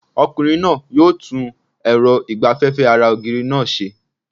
Ọkùnrin náà yóò tún èrọ ìgbaféfé ara ògiri náà se